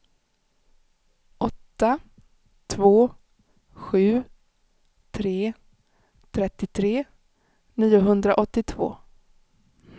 åtta två sju tre trettiotre niohundraåttiotvå